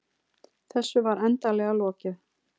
Þessu var endanlega lokið.